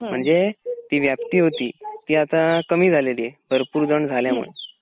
म्हणजे ती व्याप्ती होती ती आता कमी झालेली आहे भरपूर जण झाल्या मूळ.